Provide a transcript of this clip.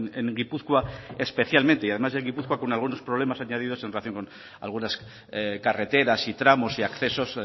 en gipuzkoa especialmente y además en gipuzkoa con algunos problemas añadidos en relación con algunas carreteras y tramos y accesos